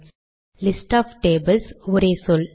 list of tables ஒரே சொல்